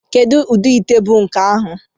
Kedu ụdị ite bụ nke ahụ?